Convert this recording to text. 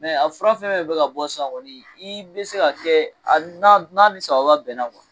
Mɛ a fura fɛn min bɛ ka ka bɔ san, i bɛ se k'a kɛ ani n'a ni sababa bɛnna kɔni